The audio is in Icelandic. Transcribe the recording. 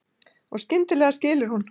Og skyndilega skilur hún.